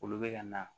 Olu bɛ ka na